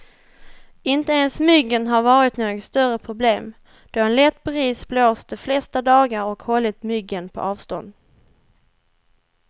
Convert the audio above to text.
Inte ens myggen har varit något större problem, då en lätt bris blåst de flesta dagar och hållit myggen på avstånd.